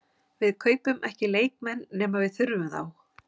Við kaupum ekki leikmenn nema við þurfum þá.